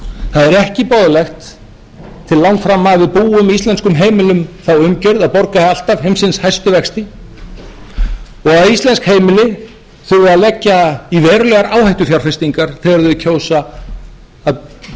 það er ekki boðlegt til langframa að við búum íslenskum heimilum þá umgjörð að borga alltaf heimsins hæstu vexti og að íslensk heimili þurfi að leggja í verulegar áhættufjárfestingar þegar þau kjósa að kaupa sér þak yfir